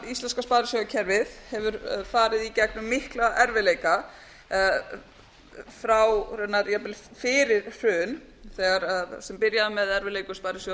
sielska sparisjóðakerfið hefur farið í gengum mikla erfiðleika frá því raunar jafnvel fyrir hrun það byrjaði með erfiðleikum sparisjóðs